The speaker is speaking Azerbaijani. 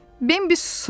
Bimbi susurdu.